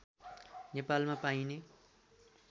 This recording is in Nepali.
नेपालमा पाइने